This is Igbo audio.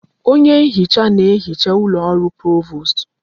Onye nhicha na ehicha ụlọ ọrụ Provost.